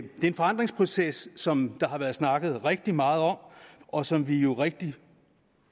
en forandringsproces som der har været snakket rigtig meget om og som vi jo rigtig